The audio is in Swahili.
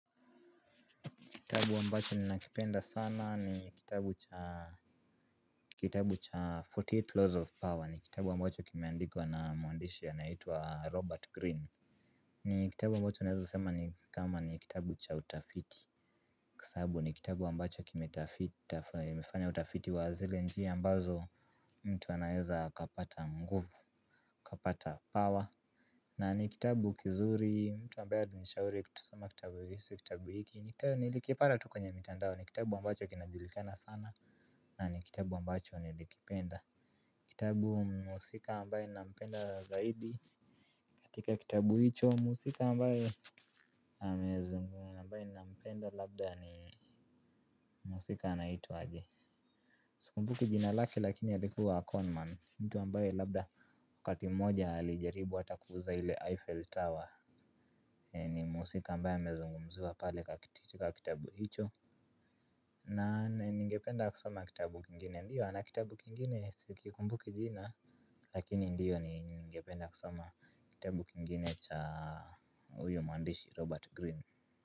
Kitabu ambacho ninakipenda sana ni kitabu cha arobaini na nane laws of power ni kitabu ambacho kimeandikwa na mwandishi anayeitwa Robert Green. Ni kitabu ambacho naezasema ni kama ni kitabu cha utafiti. Kwa sababu ni kitabu ambacho kimefanya utafiti wa zile njia ambazo mtu anaeza kapata nguvu, kapata power. Na ni kitabu kizuri, mtu ambaye alinishauri ya kusoma kitabu hizi, kitabu hiki nilikipata tu kwenye mitandao ni kitabu ambacho kinajulikana sana na ni kitabu ambacho nilikipenda. Kitabu mhusika ambaye ninampenda zaidi. Katika kitabu hicho mhusika ambaye ambaye ninampenda labda ni mhusika anaitwa aje. Sikumbuki jina lake lakini alikuwa conman, ni mtu ambaye labda wakati mmoja alijaribu hata kuuza ile Eiffel Tower. Ni mhusika ambaye amezungumziwa pale katika kitabu hicho. Na ningependa kusoma kitabu kingine ndiyo ana kitabu kingine sikikumbuki jina. Lakini ndiyo ni ningependa kusoma kitabu kingine cha huyo mwandishi Robert Greene.